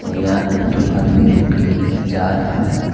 और यहां पे दो आदमी रोड के किना जा रहा है।